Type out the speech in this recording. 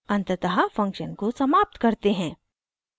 अंततः फंक्शन को समाप्त करते हैं